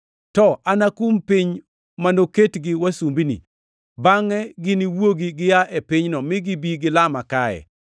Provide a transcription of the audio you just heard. To anakum piny ma noketgi wasumbini, bangʼe giniwuogi gia e pinyno mi gibi gilama kae.’ + 7:7 \+xt Chak 15:13,14\+xt*